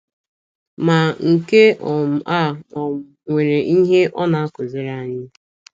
Ma, nke um a um nwere ihe ọ na - akụziri anyị.